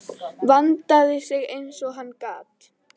Vandaði sig eins og hann gat.